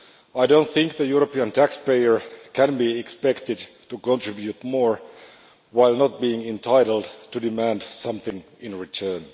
I do not think the European taxpayer can be expected to contribute more, while not being entitled to demand something in return.